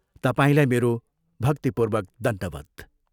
तपाईलाई मेरो भक्तिपूर्वक दण्डवत्।